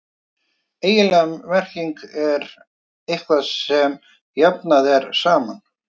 eiginleg merking er „eitthvað sem jafnað er saman“